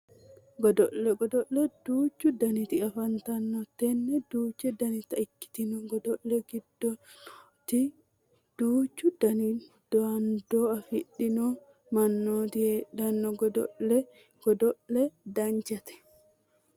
Godo'le godo'le duuchu daniti afantanno tenne duuchu danita ikkitino godo'le godo'litannori duuchu dani dandoo afidhino mannooti heedhanno godo'le godo'la danchate